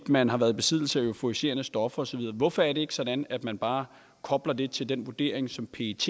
man har været i besiddelse af euforiserende stoffer og så videre hvorfor er det ikke sådan at man bare kobler det til den vurdering som pet